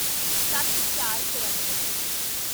ਸੱਤਚਾਰਚੋਰਨਵੇਂ